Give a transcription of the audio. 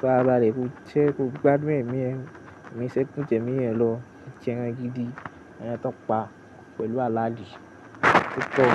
farabálẹ̀, kó jẹ́ kó gbádùn ẹ̀mí ẹ, emi ṣe ku ju ẹmí ẹ lọ jẹ ẹran gidi, ẹran tàn pa pẹ̀lú aládìí púpọ̀